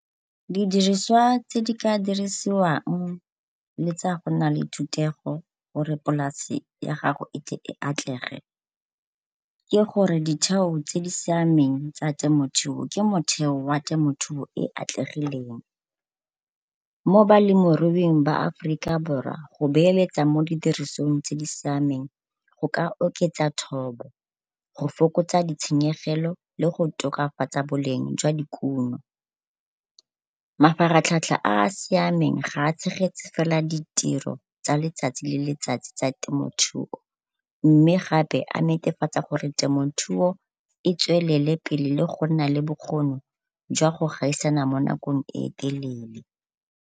Didirisiwa tse di ka dirisiwang le tsa go nna le thutego gore polasi ya gago e tle e atlege ke gore ditheo tse di siameng tsa temothuo ke motheo wa temothueo e e atlegileng. Mo balemiruing ba Aforika Borwa go beeletsa mo didirisweng tse di siameng go ka oketsa thobo go fokotsa ditshenyegelo le go tokafatsa boleng jwa dikuno. Mafaratlhatlha a a siameng ga a tshegetse fela ditiro tsa letsatsi le letsatsi tsa temothuo mme gape a netefatsa gore temothuo e tswelele pele le go nna le bokgoni jwa go gaisana mo nakong e telele.